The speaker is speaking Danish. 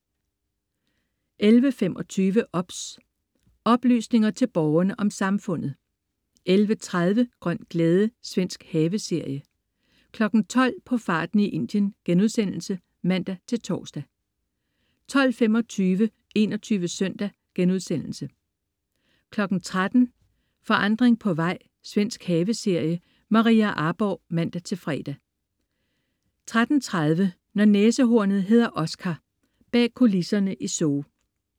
11.25 OBS. Oplysninger til Borgerne om Samfundet 11.30 Grøn glæde. Svensk haveserie 12.00 På farten i Indien* (man-tors) 12.25 21 Søndag* 13.00 Forandring på vej. Svensk haveserie. Maria Arborgh (man-fre) 13.30 Når næsehornet hedder Oscar. Bag kulisserne i zoo